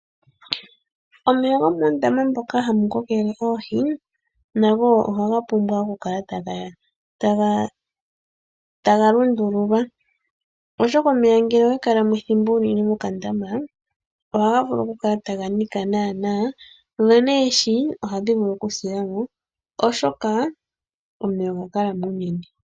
Omeya gomoondama moka hamu kokele oohi nago ohaga pumbwa okukala taga lundululwa oshoka omeya ohaga kala taga Nika dho neehi ohadhi vulu okusila mo.